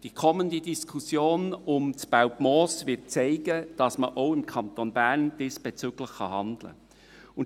Die kommende Diskussion um das Belpmoos wird zeigen, dass man auch im Kanton Bern diesbezüglich handeln kann.